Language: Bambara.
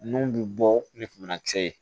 Nun bi bɔ ni banakisɛ ye